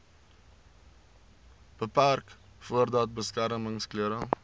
beperk voordat beskermingsklere